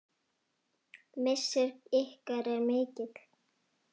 Missir ykkar er mikill.